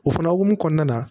O fana hokumu kɔnɔna na